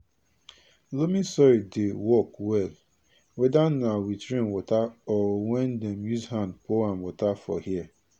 loamy soil dey work well weda na with rain water or wen dem use hand pour am water for here